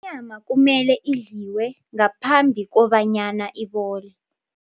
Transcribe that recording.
Inyama kumele idliwe ngaphambi kobanyana ibole.